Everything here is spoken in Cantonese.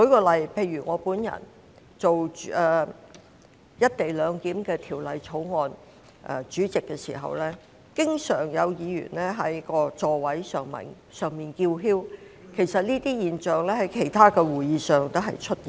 例如在我本人擔任有關"一地兩檢"的法案委員會主席時，經常有議員在座位上叫囂，而這種情況其實亦有在其他會議上出現。